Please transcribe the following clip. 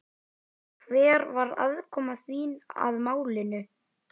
Hver var aðkoma þín að málinu?